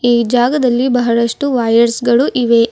ಈ ಜಾಗದಲ್ಲಿ ಬಹಳಷ್ಟು ವೈಯರ್ಸ್ ಗಳು ಇವೆ.